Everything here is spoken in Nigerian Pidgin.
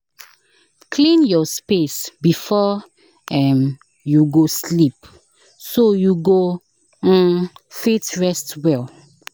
Clean your space before um you go sleep, so you go um fit rest well."